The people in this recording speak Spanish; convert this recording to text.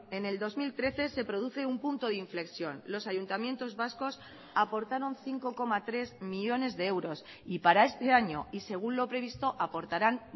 en el dos mil trece se produce un punto de inflexión los ayuntamientos vascos aportaron cinco coma tres millónes de euros y para este año y según lo previsto aportarán